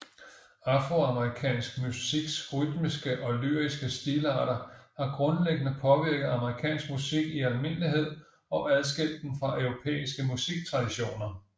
Afroamerikansk musiks rytmiske og lyriske stilarter har grundlæggende påvirket amerikansk musik i almindelighed og adskilt den fra europæiske musiktraditioner